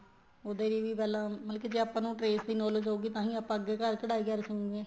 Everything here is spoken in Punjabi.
ਉਹਦੇ ਲਈ ਵੀ ਪਹਿਲਾ ਮਤਲਬ ਕੀ ਜ਼ੇ ਆਪਾਂ ਨੂੰ trace ਦੀ knowledge ਹਉਗੀ ਤਾਂ ਤਾਂਹੀ ਆਪਾਂ ਅੱਗੇ ਕਢਾਈ ਕਰ ਸ੍ਕੂਗੇ